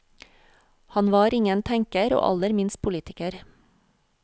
Han var ingen tenker, og aller minst politiker.